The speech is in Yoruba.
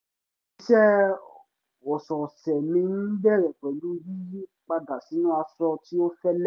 iṣẹ́ ọ̀sọ̀ọ̀sẹ̀ mi ń bẹ̀rẹ̀ pẹ̀lú yíyí padà sínú aṣọ tí ó fẹ́lẹ́